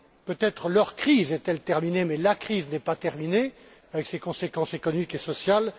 Peut être leur crise est elle terminée mais la crise n'est pas terminée, avec ses conséquences économiques et sociales.